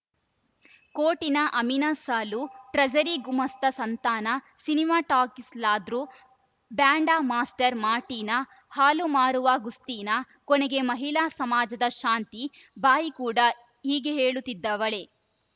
ಕೋರ್ಟಿನ ಅಮೀನ ಸಾಲ್ಲು ಟ್ರಜರಿ ಗುಮಾಸ್ತ ಸಂತಾನ ಸಿನಿಮಾ ಟಾಕೀಸ್‌ ಲಾದ್ರು ಬ್ಯಾಂಡ ಮಾಸ್ಟರ್‌ ಮಾರ್ಟಿನ ಹಾಲು ಮಾರುವ ಗುಸ್ತೀನ ಕೊನೆಗೆ ಮಹಿಳಾ ಸಮಾಜದ ಶಾಂತಿ ಬಾಯಿ ಕೂಡ ಹೀಗೆ ಹೇಳುತ್ತಿದ್ದವಳೇ